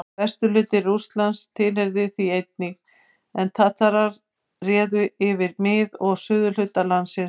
Vesturhluti Rússlands tilheyrði því einnig, en Tatarar réðu yfir mið- og suðurhluta landsins.